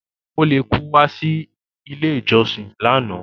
Ó wọ ólekú wá sí ilé ìjọsìn lánàá.